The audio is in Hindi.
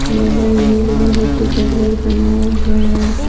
बगल में एक लोहे की जंजीर बनाया हुआ है।